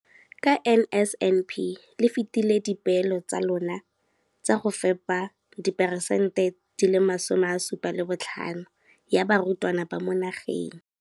Ka NSNP le fetile dipeelo tsa lona tsa go fepa masome a supa le botlhano a diperesente ya barutwana ba mo nageng.